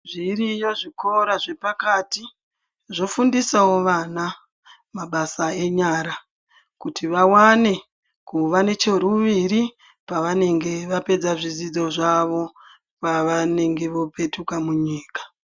Zviriyo zvikora zvepakati zvofundisawo vana mabasa emaoko kuti vawane kuva necheuviri pavanenge vapedza zvidzidzo zvavo pavanenge vopetuka munyika